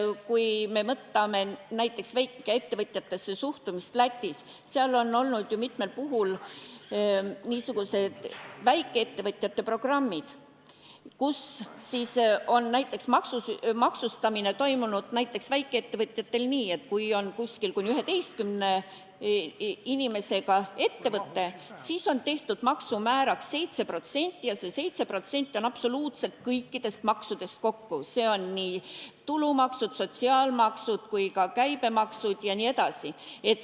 Kui me võtame näiteks väikeettevõtjatesse suhtumise Lätis, siis seal on olnud ju mitmel puhul niisugused väikeettevõtjate programmid, kus on näiteks maksustamine toimunud nii, et kui on kuni 11 inimesega ettevõte, siis on tehtud maksumääraks 7% ja see 7% on absoluutselt kõikidest maksudest kokku – nii tulumaksud, sotsiaalmaksud kui ka käibemaksud jne.